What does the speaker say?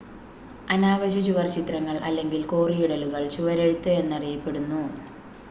അനാവശ്യ ചുവർച്ചിത്രങ്ങൾ അല്ലെങ്കിൽ കോറിയിടലുകൾ ചുവരെഴുത്ത് എന്നറിയപ്പെടുന്നു